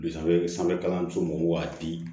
sanfɛ sanfɛ kalanso mɔgɔw waati